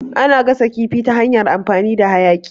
Ana gasa kifi ta hanyar amfani da hayaƙi.